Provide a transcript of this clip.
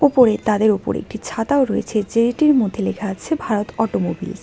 ওপরে তাদের ওপরে একটি ছাতাও রয়েছে যেইটির মধ্যে লেখা আছে ভারত অটোমোবিলস ।